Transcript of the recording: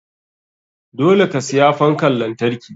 Dole ka siya fankan lantarki.